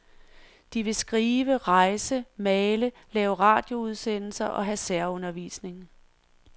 De vil skrive, rejse, male, lave radioudsendelser og have særundervisning.